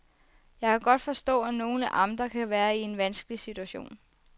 Jeg kan godt forstå, at nogle amter kan være i en vanskelig situation.